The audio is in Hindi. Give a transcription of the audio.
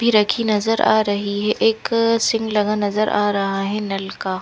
पी रखी नजर आ रही है एक सिंग लगा नजर आ रहा है नल का।